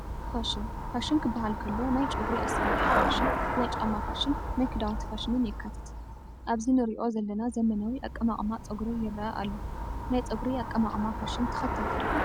ፋሽን፡- ፋሽን ክባሃል ከሎ ናይ ጨጉሪ ኣሰራርሓ ፋሽን፣ ናይ ጫማ ፋሽን፣ ናይ ክዳውንቲ ፋሽንን የካትት፡፡ ኣብዚ ንሪኦ ዘለና ዘመናዊ ኣቀማቕማ ፀጉሪ ይረአ ኣሎ፡፡ ናይ ፀጉሪ ኣቐማቕማ ፋሽን ተኸተልቲ ዲኹም?